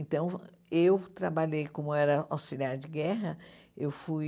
Então, eu trabalhei como era auxiliar de guerra, eu fui...